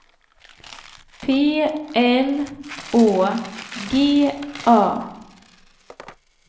P L Å G A